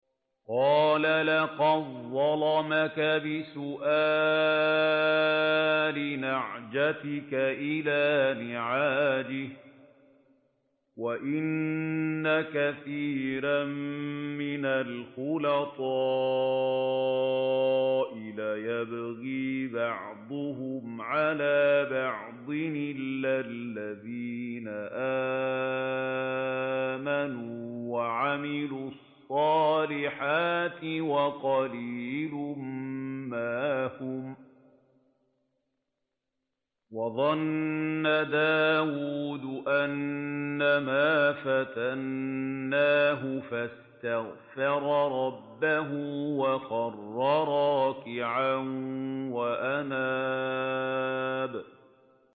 قَالَ لَقَدْ ظَلَمَكَ بِسُؤَالِ نَعْجَتِكَ إِلَىٰ نِعَاجِهِ ۖ وَإِنَّ كَثِيرًا مِّنَ الْخُلَطَاءِ لَيَبْغِي بَعْضُهُمْ عَلَىٰ بَعْضٍ إِلَّا الَّذِينَ آمَنُوا وَعَمِلُوا الصَّالِحَاتِ وَقَلِيلٌ مَّا هُمْ ۗ وَظَنَّ دَاوُودُ أَنَّمَا فَتَنَّاهُ فَاسْتَغْفَرَ رَبَّهُ وَخَرَّ رَاكِعًا وَأَنَابَ ۩